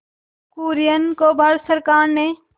कुरियन को भारत सरकार ने